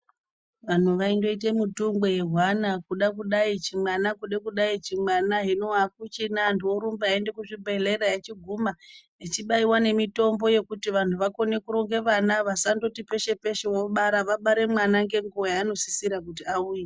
Vantu vaingoite mutungwe wezvana kuda kudai chimwana kuda kudai chimwana hino akuchina Antu orumba eienda kuzvibhedhleya echichiguma echipuwa mutombo yekuti vantu vakwanise kurera vana vasasabara peshe peshe ,vabare mwana ngenguwa yaanosisira kuti auye.